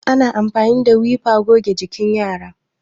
ana amfani wiper goge jikin yara